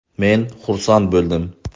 Men xursand bo‘ldim.